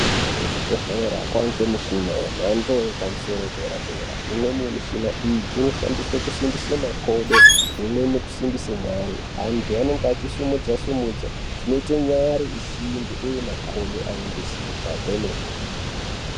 Kuzvibhedhlera kwaangemishina yemhando yepamusoro yedera-dera. Imweni yemishina iyi inoshandiswe kusimbise makodo, imweni kusimbise nyare. Antu anenge achisumudza-sumudza zvinoite nyare isimbe uye makodo ave ngesimba kwemene.